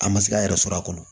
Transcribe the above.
A ma se k'a yɛrɛ sɔrɔ a kɔnɔ